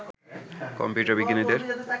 computer বিজ্ঞানীদের